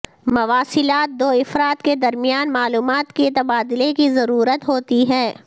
مواصلات دو افراد کے درمیان معلومات کے تبادلے کی ضرورت ہوتی ہے